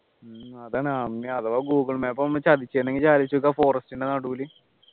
അതാണ് ആന്നെ അഥവാ ഗൂഗിൾ മാപ്പ് ചതിച്ചെങ്കിൽ ആലോചിച്ചു നോക്ക് ആ forest ൻ്റെ നടുവിൽ